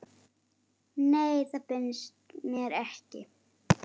Nei, það finnst mér ekki.